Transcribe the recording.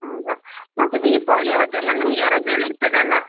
ಮತ್ತೇ ದೀಪಾವಳಿ ಆವತ್ತೆಲ್ಲಾ ನಿಮಗೆ ರಜೆಯೆಲ್ಲಾ ಇರ್ತದಲ್ಲಾ?